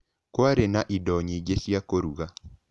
Kwarĩ na indo nyingĩ cia kũruga.